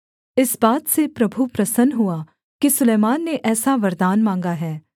इस बात से प्रभु प्रसन्न हुआ कि सुलैमान ने ऐसा वरदान माँगा है